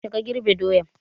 Yaushe ka girbe doyan?